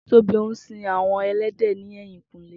Tobi n sin awọn ẹlẹdẹ ni ẹyinkúnlẹ́